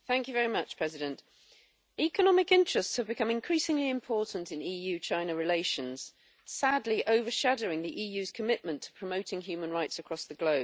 Madam President, economic interests have become increasingly important in EU China relations, sadly overshadowing the EU's commitment to promoting human rights across the globe.